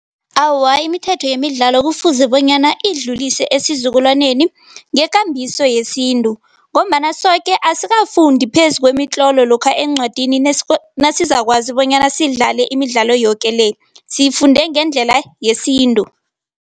Awa, imithetho yemidlalo kufuze bonyana idlulise esizukulwaneni ngekambiso yesintu ngombana soke asikafundi phezu kwemitlolo lokha eencwadini nasizakwazi bonyana sidlale imidlalo yoke le, sifunde ngendlela yesintu.